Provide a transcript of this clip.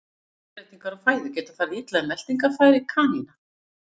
Snöggar breytingar á fæðu geta farið illa í meltingarfæri kanína.